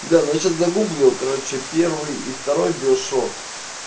да но я сейчас загуглил короче первый и второй биошоп